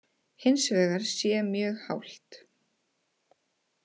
Hins vegar sé mjög hált